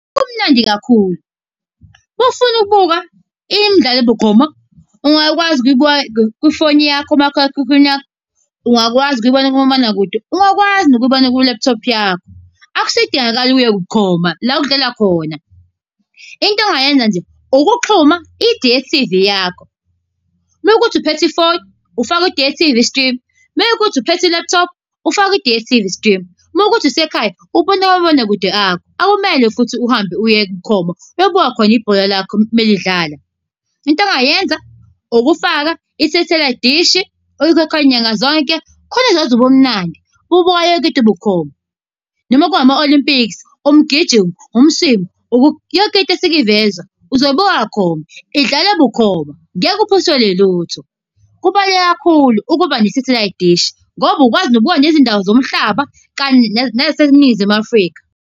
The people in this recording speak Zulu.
Kumnandi kakhulu. Uma ufuna ukubuka imidlalo bukhoma, ungakwazi ukuyibuka kwifoni yakho, umakhalekhukhwini wakho. Ungakwazi ukuyibona kumabonakude, ungakwazi nokuyibona kwi-laptop yakho. Akusadingakali uye bukhoma la okudlala khona. Into ongayenza nje ukuxhuma i-D_S_T_V yakho. Uma kuwukuthi uphethe iphone, ufaka i-D_S_T_V stream, uma kuwukuthi uphethe i-laptop, ufake kwi-D_S_T_V stream, uma kuwukuthi usekhaya, ubone kumabonakude akho, akumele futhi uhambe uye bukhoma, uyobuka khona ibhola lakho melidlala. Into ongayenza ukufaka i-satelite dish oyikhokhel nyanga zonke, khona uzozwa ubumnandi bokubuka yonke into bukhoma. Noma ku ama-Olimpiksi, umgijimo, , yonke into esuke ivezwa uzobuka bukhoma, idlale bukhoma, ngeke uphuthelwe lutho. Kubaluleke kakhulu ukuba ne-satelite dish, ngoba ukwazi ukubuka nezindawo zomhlaba kanye nezaseNingizimu Afrika.